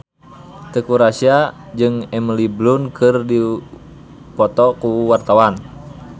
Teuku Rassya jeung Emily Blunt keur dipoto ku wartawan